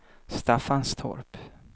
Staffanstorp